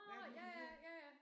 Hvad er det nu den hedder?